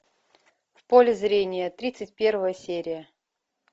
в поле зрения тридцать первая серия